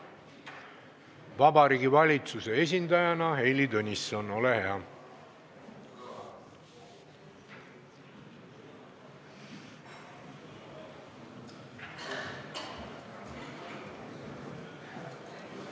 Vabariigi Valitsuse esindaja Heili Tõnisson, ole hea!